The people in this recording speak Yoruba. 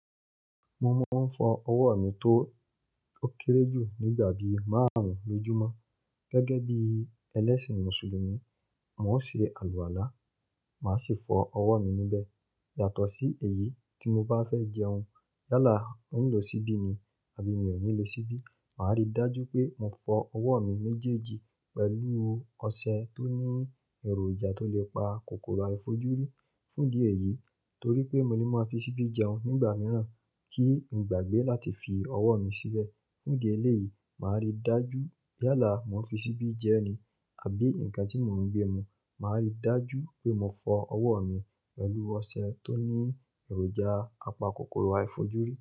Mo máa ń fọ ọwọ́ mi tó kéré jù nígbà bí márùn-ún lójúmọ́. Gẹ́gẹ́ bí ẹlẹ́sìn Mùsùlùmí, mò ń ṣe àlùwàlá, màá sì fọ ọwọ́ mi níbẹ̀. Yàtọ̀ sí èyí tí mo bá fẹ́ jẹun. Yálà ń lò ṣíbí ni àbí mi ò ní lo ṣíbí, màá rí dájú pé mò fọ ọwọ́ mi méjèèjì pẹ̀lú ọṣẹ tó ní èròjà tó lè pa kòkòrò àìfojúrí. Fún ìdí èyí, torí pé mo lè máa fi ṣíbí jẹun nígbà mìíràn kí n gbàgbé láti fi ọwọ́ mi síbẹ̀. Fún ìdí eléyìí, màá rí dájú yálà mo fi ṣíbí jẹ ni àbí ǹkan tí mò ń gbé mu, màá rí dájú pé mò fọ ọwọ́ mi pẹ̀lú ọṣẹ tó ní èròjà apa kòkòrò àìfojúrí.